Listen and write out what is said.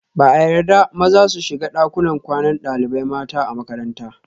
Ba a yarda maza su shiga dakunan kwanan dalibai mata a makaranta